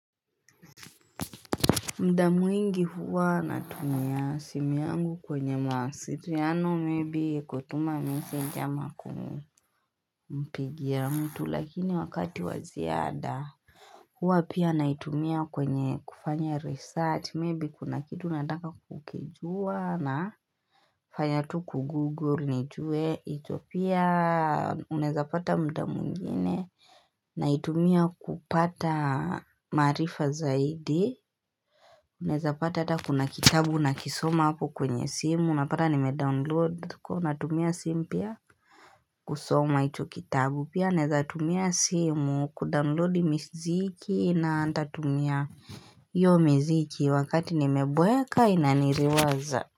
Muda mwingi huwa natumia simu yangu kwenye mawasiliano maybe kutuma miseji ama kumu Mpigi ya mtu lakini wakati wa ziada Huwa pia naitumia kwenye kufanya research maybe kuna kitu nataka kukijua na fanya tu kugoogle nijue hicho pia unaezapata muda mwingine Naitumia kupata maarifa zaidi Naeza pata hata kuna kitabu nakisoma hapo kwenye simu unapata nimedownload kwa hiyo natumia simu pia kusoma hicho kitabu pia naweza tumia simu kudownload miziki na nitatumia hiyo mziki wakati nimeboeka inaniriwaza.